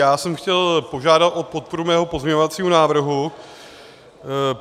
Já jsem chtěl požádat o podporu svého pozměňovacího návrhu.